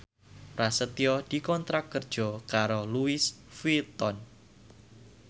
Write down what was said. Prasetyo dikontrak kerja karo Louis Vuitton